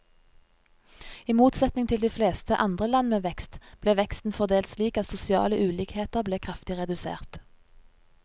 I motsetning til de fleste andre land med vekst, ble veksten fordelt slik at sosiale ulikheter ble kraftig redusert.